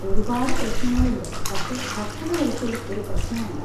ഒരുപാട് പ്രശ്നങ്ങളുണ്ട്, പക്ഷെ ഭക്ഷണം ഒരിക്കലും ഒരു പ്രശ്നമല്ല.